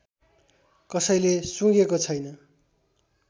कसैले सुँघेको छैन